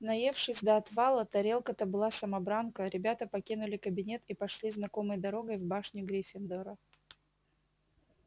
наевшись до отвала тарелка-то была самобранка ребята покинули кабинет и пошли знакомой дорогой в башню гриффиндора